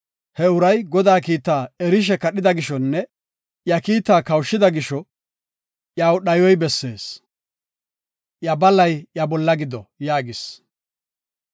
He uray Godaa kiitaa erishe kadhida gishonne iya kiitaa kawushida gisho iyaw dhayoy bessees. Iya balay iya bolla gido” yaagis.